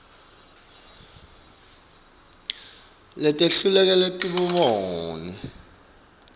letehlukile temibono lebanti